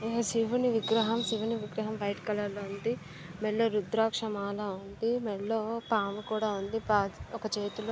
ఈ శివును విగ్రహం. శివుని విగ్రహం వైట్ కలర్ లో ఉంది. మెడలో రుద్రాక్ష మాల ఉంది. మెడలో పాము కూడా ఉంది. ప ఒక చేతిలో--